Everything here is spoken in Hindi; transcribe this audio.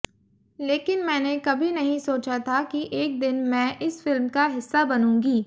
लेकिन मैंने कभी नहीं सोचा था कि एक दिन मैं इस फिल्म का हिस्सा बनूंगी